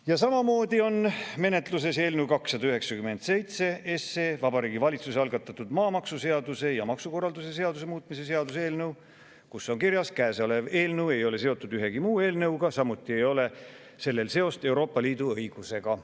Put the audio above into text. " Ja samamoodi on menetluses eelnõu 297, Vabariigi Valitsuse algatatud maamaksuseaduse ja maksukorralduse seaduse muutmise seaduse eelnõu, kus on kirjas: "Käesolev eelnõu ei ole seotud ühegi muu eelnõuga, samuti ei ole sellel seost Euroopa Liidu õigusega.